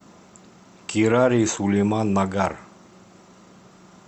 кирари сулеман нагар